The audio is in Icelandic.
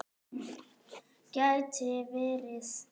Gæti verið.